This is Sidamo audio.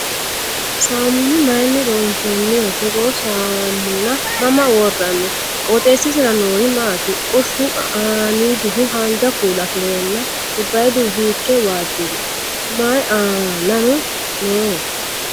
Saammunu mayiinni loonsoniho? Togoo saammuna mama worranni? Qooxesisira noorino maati? Qoshu aaniddihu haanja kuula afireenna gobbayiidihu hiikke waajjiri? mayii aanano noo?